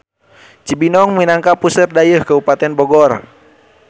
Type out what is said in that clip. Cibinong minangka puseur dayeuh Kabupaten Bogor.